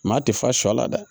Maa tɛ fa sɔ la dɛ